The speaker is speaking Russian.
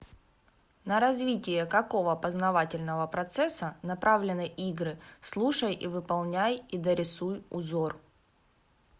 на развитие какого познавательного процесса направлены игры слушай и выполняй и дорисуй узор